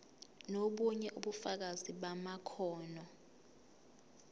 nobunye ubufakazi bamakhono